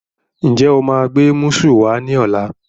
Ǹjẹ́ o máa gbé músù wá ní ọ̀la?